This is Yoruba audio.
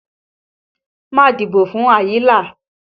Má dìbò fún Àyìnlá!